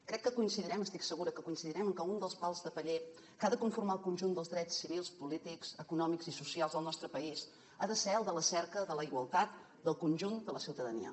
crec que coincidirem estic segura que coincidirem en que un dels pals de paller que ha de conformar el conjunt dels drets civils polítics econòmics i socials del nostre país ha de ser el de la cerca de la igualtat del conjunt de la ciutadania